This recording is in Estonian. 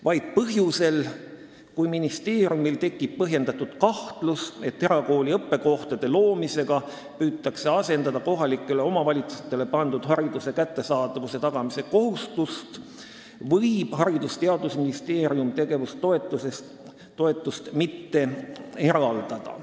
Vaid põhjusel, kui ministeeriumil tekib põhjendatud kahtlus, et erakooli õppekohtade loomisega püütakse asendada kohalikule omavalitsusele pandud hariduse kättesaadavuse tagamise kohustuse täitmist, võib Haridus- ja Teadusministeerium tegevustoetust mitte eraldada.